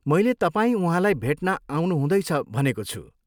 मैले तपाईँ उहाँलाई भेट्न आउनुहुँदैछ भनेको छु।